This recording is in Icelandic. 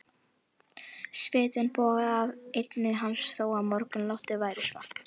Svitinn bogaði af enni hans þó að morgunloftið væri svalt.